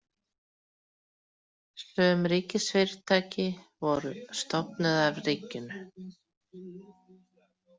Sum ríkisfyrirtæki voru stofnuð af ríkinu.